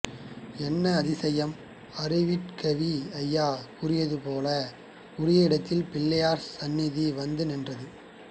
என்ன அதிசயம் அருட்கவி ஐயா கூறியது போல உரிய இடத்தில் பிள்ளையார் சந்நிதானம் வந்து நின்றது